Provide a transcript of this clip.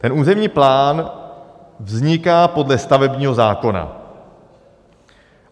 Ten územní plán vzniká podle stavebního zákona.